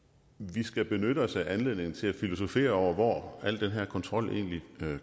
vi skal benytte os af anledningen til at filosofere over hvor al den her kontrol egentlig